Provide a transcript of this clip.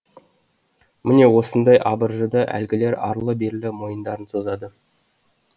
міне осындай абыржыда әлгілер арлы берлі мойындарын созады